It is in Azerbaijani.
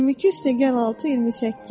22 + 6 = 28.